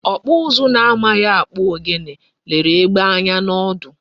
Okpu uzu na amaghi akpu ogene lere egbe anya na odu